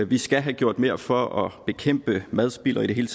vi skal have gjort mere for at bekæmpe madspild og i det hele